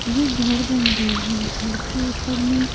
ये घर बन रही है घर के ऊपर में--